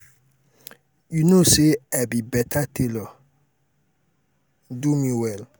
you no say i be be beta tailor do me well.